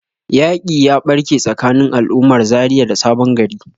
yaƙi ya barke tsakanin al'ummar Zaria da sabon gari.